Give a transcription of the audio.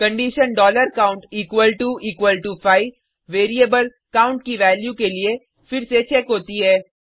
condition count equal to equal to 5 variable count की value के लिए फिर से चेक होती है